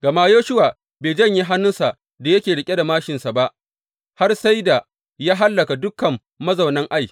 Gama Yoshuwa bai janye hannunsa da yake riƙe da māshinsa ba har sai da ya hallaka dukan mazaunan Ai.